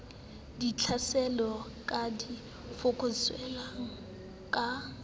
ditlhaselo di ka fokotswang ka